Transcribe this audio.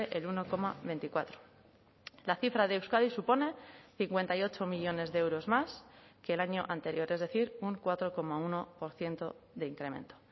el uno coma veinticuatro la cifra de euskadi supone cincuenta y ocho millónes de euros más que el año anterior es decir un cuatro coma uno por ciento de incremento